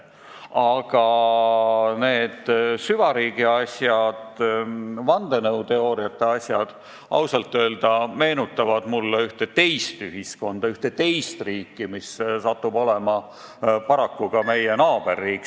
Aga need süvariigi asjad ja vandenõuteooriate asjad meenutavad mulle ausalt öelda ühte teist ühiskonda, ühte teist riiki, mis paraku on ka meie naaberriik.